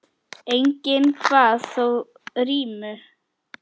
Enginn kvað þó rímu.